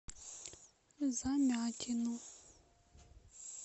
замятину